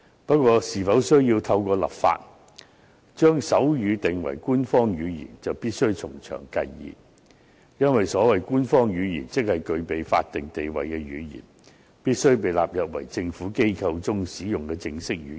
不過，是否需要透過立法，將手語定為官方語言，就必須從長計議。因為，所謂官方語言，即是具備法定地位的語言，必須被納入為政府機構中使用的正式語言。